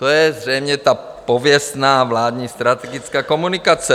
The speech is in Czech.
To je zřejmě ta pověstná vládní strategická komunikace.